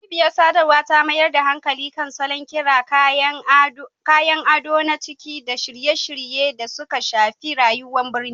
Cibiyar sadarwa ta mayar da hankali kan salon, ƙira, kayan ado na ciki da shirye-shiryen da suka shafi rayuwar birni